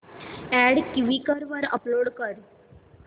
add Quikr वर upload कर